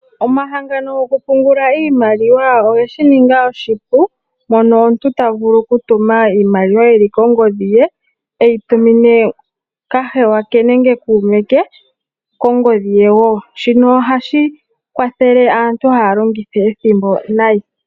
Omahangano goku pungula iimaliwa oge shininga oshipu mono omuntu ta vulu okutuma iimaliwa kongodhi ye eyi tumene kahewa nenge kuume ke kongodhi ye woo, shino ohashi kwathele aantu haa longitha ethimbo nayi.